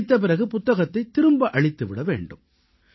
படித்த பிறகு புத்தகத்தைத் திரும்ப அளித்து விட வேண்டும்